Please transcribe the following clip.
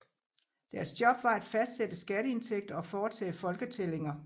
Deres job var at fastsætte skatteindtægter og foretage folketællinger